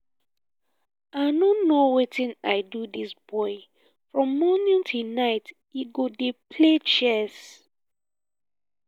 i no know wetin i do dis boy from morning till night he go dey play chess